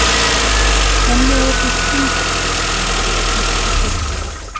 Kenniorðið hringa stendur í eignarfalli fleirtölu.